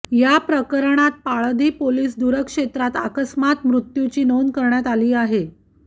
या प्रकरणात पाळधी पोलीस दूरक्षे त्रात अकस्मात मृत्युची नोंद करण्यात आली आहे